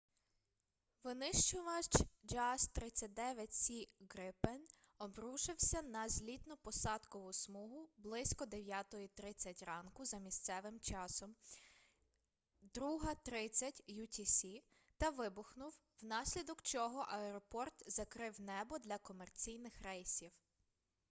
винищувач jas 39c gripen обрушився на злітно-посадкову смугу близько 9:30 ранку за місцевим часом 02:30 utc та вибухнув внаслідок чого аеропорт закрив небо для комерційних рейсів